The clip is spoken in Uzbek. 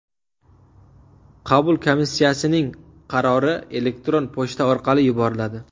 Qabul komissiyasining qarori elektron pochta orqali yuboriladi.